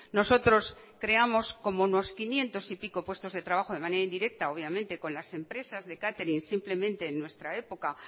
nosotros creamos como unos quinientos y pico puestos de trabajo de manera indirecta obviamente con las empresas de catering simplemente en nuestra época